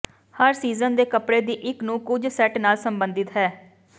ਹਰ season ਦੇ ਕੱਪੜੇ ਦੀ ਇੱਕ ਨੂੰ ਕੁਝ ਸੈੱਟ ਨਾਲ ਸੰਬੰਧਿਤ ਹੈ